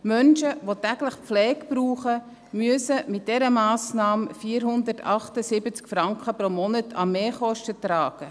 Menschen, die täglich Pflege brauchen, müssen wegen dieser Massnahme 478 Franken pro Monat an Mehrkosten tragen.